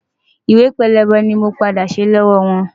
Ìwé pélébé ni mo padà ṣe lọ́wọ́ wọn.